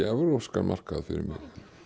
evrópskan markað fyrir mig